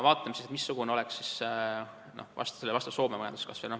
Vaatame, missugune oleks sellele vastav Soome majanduskasv.